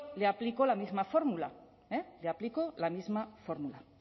le aplico la misma fórmula le aplico la misma fórmula